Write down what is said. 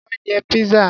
Wá jẹ Pizza.